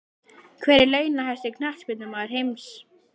Hver er launahæsti Knattspyrnumaður heims?